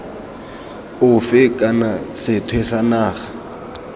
ofe kana sethwe sa naga